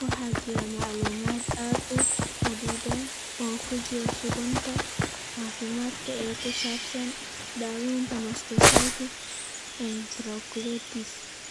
Waxaa jira macluumaad aad u xaddidan oo ku jira suugaanta caafimaadka ee ku saabsan daaweynta mastocytic enterocolitis.